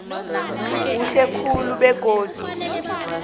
kuhle khulu begodu